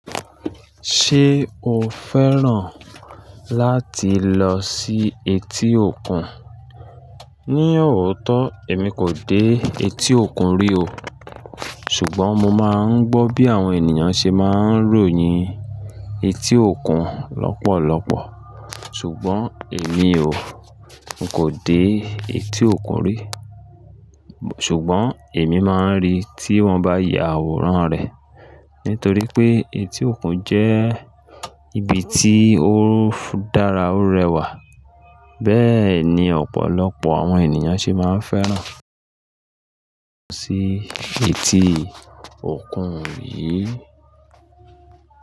Ṣé o fẹ́ràn láti lọ sí etí òkun? Ní ọ̀ótọ́, èmi kò dé etí òkun rí o. Ṣùgbọ́n mo máa ń gbọ́ bí àwọn ènìyàn ṣe máa ń ròyìn etí òkun lọ́pọ̀lọpọ̀. Ṣùgbọ́n èmi ò, kò dé etí òkun rí. Ṣùgbọ́n èmi máa ń rí i tí wọ́n bá ya àwòrán rẹ̀. Nítorí pé etí òkun jẹ́ ibi tí o dara o rẹwà. Bẹ́ẹ̀ ni ọ̀pọ̀lọpọ̀ àwọn ènìyàn ṣe máa ń fẹ́ràn lọ sí etí òkun yìí.